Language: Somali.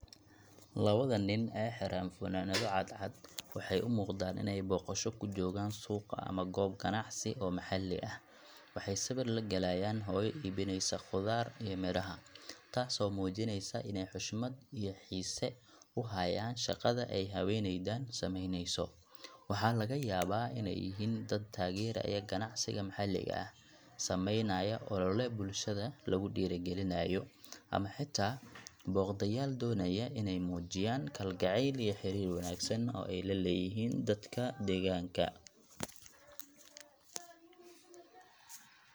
Labadan nin ee xiran funaanado cad cad waxay u muuqdaan inay booqasho ku joogaan suuqa ama goob ganacsi oo maxalli ah. Waxay sawir la galayaan hooyo iibinaysa khudaar iyo miraha, taasoo muujinaysa inay xushmad iyo xiise u hayaan shaqada ay haweeneydan samaynayso. Waxaa laga yaabaa inay yihiin dad taageeraya ganacsiga maxalliga ah, samaynaya ol’ole bulshada lagu dhiirrigelinayo, ama xitaa booqdayaal doonaya inay muujiyaan kalgacayl iyo xiriir wanaagsan oo ay la leeyihiin dadka deegaanka.